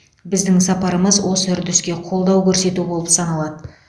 біздің сапарымыз осы үрдіске қолдау көрсету болып саналады